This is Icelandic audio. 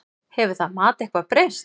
Hefur það mat eitthvað breyst?